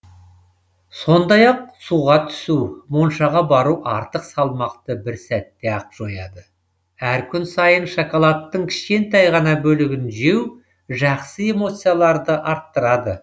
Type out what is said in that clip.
сондай ақ суға түсу моншаға бару артық салмақты бір сәтте ақ жояды әр күн сайын шоколадтың кішкентай ғана бөлігін жеу жақсы эмоцияларды арттырады